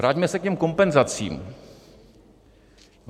Vraťme se k těm kompenzacím.